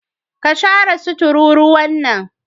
ka share su tururuwan nan.